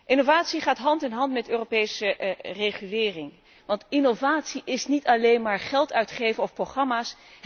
Innovatie gaat hand in hand met Europese regulering, want innovatie is niet alleen maar geld uitgeven of programma's.